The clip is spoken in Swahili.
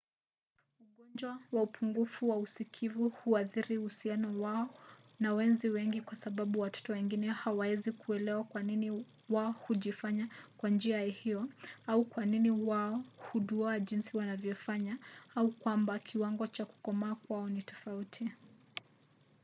ugonjwa wa upungufu wa usikivu huathiri uhusiano wao na wenzi wengine kwa sababu watoto wengine hawawezi kuelewa kwa nini wao hujifanya kwa njia hiyo au kwa nini wao huduwaa jinsi wanavyofanya au kwamba kiwango cha kukomaa kwao ni tofauti